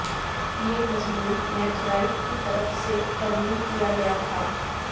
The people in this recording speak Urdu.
یہ مضمون میتھ رائٹ کی طرف سے ترمیم کیا گیا تھا